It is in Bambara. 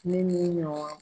Ne ni n ɲɔgɔn